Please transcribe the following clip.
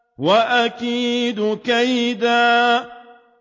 وَأَكِيدُ كَيْدًا